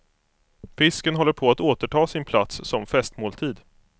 Fisken håller på att återta sin plats som festmåltid.